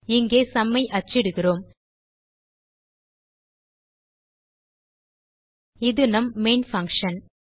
இங்கே சும் ஐ அச்சிடுகிறோம் இது நம் மெயின் பங்ஷன்